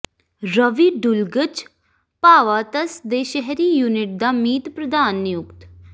ਰਵੀ ਡੁਲਗਚ ਭਾਵਾਧਸ ਦੇ ਸ਼ਹਿਰੀ ਯੂਨਿਟ ਦਾ ਮੀਤ ਪ੍ਰਧਾਨ ਨਿਯੁਕਤ